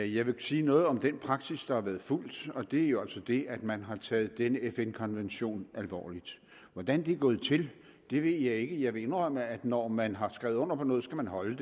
jeg vil sige noget om den praksis der har været fulgt og det er jo altså det at man har taget denne fn konvention alvorligt hvordan det er gået til ved jeg ikke jeg vil indrømme at når man har skrevet under på noget skal man holde